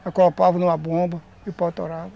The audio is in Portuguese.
acoplava em uma bomba e o pau torava